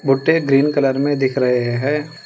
भुट्टे green colour में दिख रहे हैं।